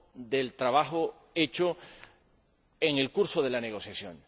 del trabajo hecho en el curso de la negociación.